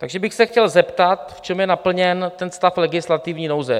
Takže bych se chtěl zeptat, v čem je naplněn ten stav legislativní nouze?